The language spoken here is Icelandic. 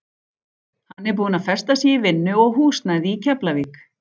Hann er búinn að festa sig í vinnu og húsnæði í Keflavík.